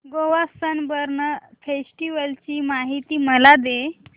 Goa sunburn festival ची माहिती मला दे